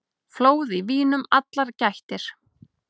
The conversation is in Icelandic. Flóð í vínum allar gættir.